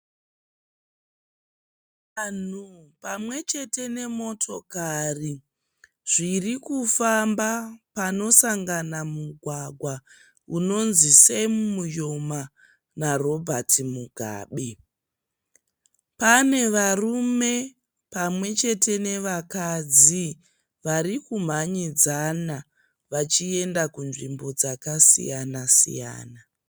Vanhu pamwechete nemotokari zvirikufamba panosangana mugwagwa unonzi Semu Mujoma naRobhati Mugabe. Pane varume pamwechete nevakadzi varikumhanyidzana vachienda kunzvimbo dzakasiyana.